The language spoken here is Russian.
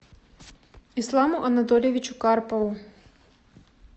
исламу анатольевичу карпову